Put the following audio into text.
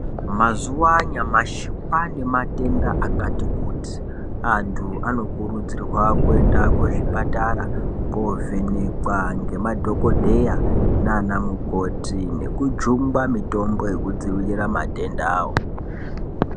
Mazuva anyamashi kwaanematenda akati kuti. Antu anokurudzirwa kuenda kuzvipatara koovhenekwa ngemadhokodheya naana mukoti, nekujungwa mitombo yekudzivirira matendawo.